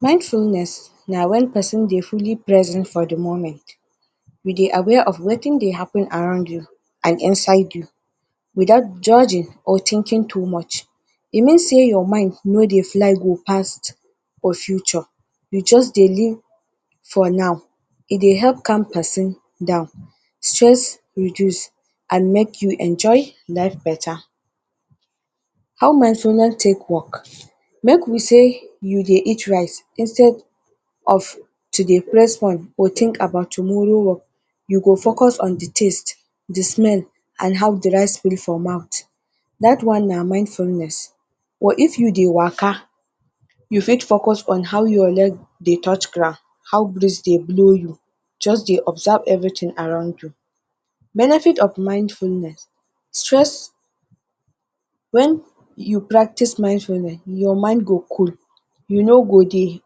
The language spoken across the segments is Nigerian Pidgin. Mindfulness na when person dey fully present for the moment, you dey aware of wetin dey happen around you and inside you without judging or thinking too much. E mean sey your mind no dey fly go past your future, you just dey live for now, e dey help calm person down, stress reduce and make you enjoy life better. How mindfulness take work, make we sey you dey eat rice, you dey focus on the smell, the taste and how the rice feel for mouth, that one na mindfulness. Or if you dey waka you fit focus on how your leg they touch ground, how breeze they blow you, just dey observe everything around you. Benefit of mindfulness Stress: when you practice mindfulness your mind go cool, you no go dey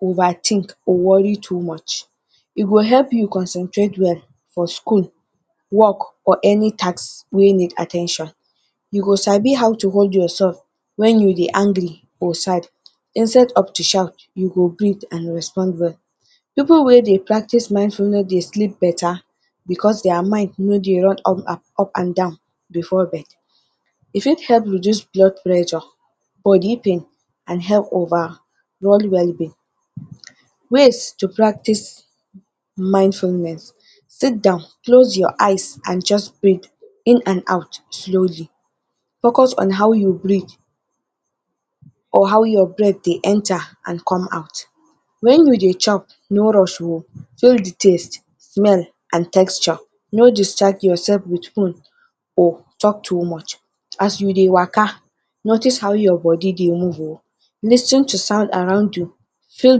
over think or worry too much. E go help you concentrate well for school work or any task wey need at ten tion, you go sabi how to hold yourself when you dey angry or sad instead of to shout you go greet and respond well. pipul way they practice mindfulness dey sleep better because their mind no dey run up and down before bed. E fit help reduce blood pressure, body pain………….? Ways to practice mindfulness Sit down, close your eyes and just breath in and out slowly, focus on how you breathe or how your breath they enter and come out. When you they chop no rush o, feel the taste, smell and texture. No discharge yourself with phone or talk too much. As you dey waka notice how your body they move o, lis ten the sound around you feel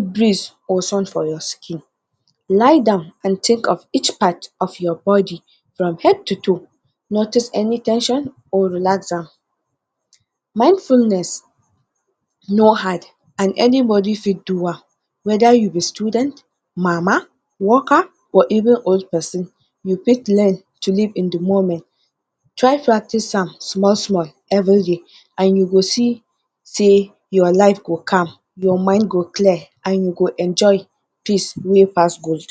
breeze or sun for your skin. Lie down and think of each part of your body from head to toe, notice any ten sion or relax down. Mindfulness no hard and anybody fit do am, whether you be student, worker, mama or even old person you fit learn to live in the moment. Try practice am small-small every day and you go see say your life go calm, your mind go clear and you go enjoy peace way pass gold.